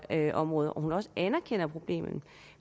her område og at hun også anerkender problemet